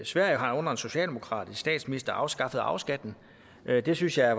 sverige har under en socialdemokratisk statsminister afskaffet arveskatten det synes jeg